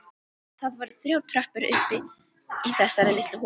Það voru þrjár tröppur upp í þessa litlu holu.